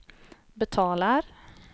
betalar